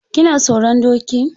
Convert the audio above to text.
Kina tsoron doki?